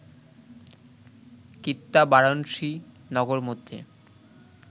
কৃত্যা বারাণসী নগর মধ্যে